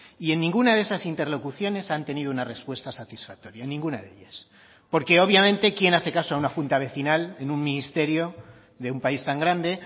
y en ninguna de esas interlocuciones han tenido una respuesta satisfactoria en ninguna de ellas porque obviamente quién hace caso a una junta vecinal en un ministerio de un país tan grande